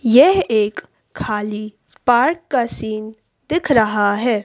यह एक खाली पार्क का सीन दिख रहा है।